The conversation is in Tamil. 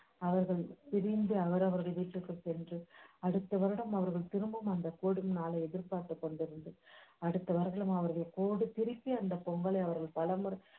அவர்கள் பிரிந்து அவரவ்ர் வீட்டுக்கு சென்று அடுத்த வருடம் அவர்கல் திரும்பும் அந்த கூடும் நாளை எதிர்பார்த்து கொண்டிருந்து அடுத்த வருடம் அவர்கள் திருப்பி அந்த பொங்கலை அவர்களை